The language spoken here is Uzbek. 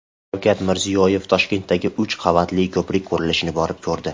Shavkat Mirziyoyev Toshkentdagi uch qavatli ko‘prik qurilishini borib ko‘rdi .